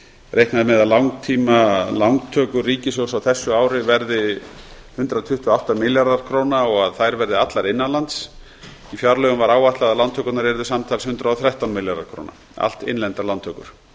reiknað er með að langtímalántökur ríkissjóðs á þessu ári verði hundrað tuttugu og átta milljarðar króna og að þær verði allar innan lands í fjárlögum var áætlað að lántökurnar yrðu samtals hundrað og þrettán milljarðar króna allt innlendar lántökur